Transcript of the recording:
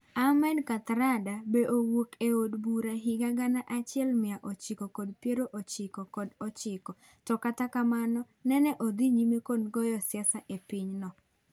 Ahmed kathrada be owuok ei od bura higa gana achiel mia ochiko kod piero ochiko kod ochiko, to kata kamano nene odhii nyime kod goyo siasa epiny no.